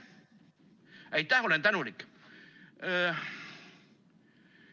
Aitäh, olen tänulik!